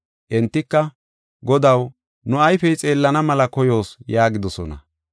Entika, “Godaw, nu ayfey xeellana mela koyoos” yaagidosona.